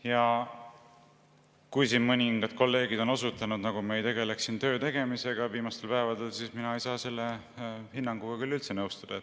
Ja kui siin mõningad kolleegid on osutanud, nagu me ei tegeleks siin viimastel päevadel töötegemisega, siis mina ei saa selle hinnanguga küll üldse nõustuda.